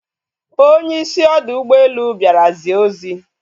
Onye isi ọdọ ụgbọelu bịara zie ozi